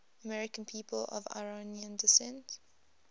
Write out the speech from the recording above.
american people of iranian descent